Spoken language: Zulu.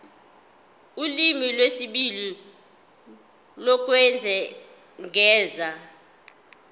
ulimi lwesibili lokwengeza